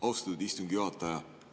Austatud istungi juhataja!